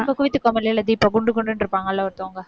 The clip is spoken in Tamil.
cook with கோமாளி தீபா குண்டு குண்டுன்னு இருப்பாங்கள்ல ஒருத்தவங்க.